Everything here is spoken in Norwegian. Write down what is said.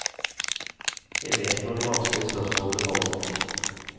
Jeg vet når de vanskelige spørsmålene kommer.